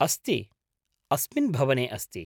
अस्ति, अस्मिन् भवने अस्ति।